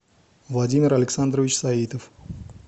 владимир александрович саитов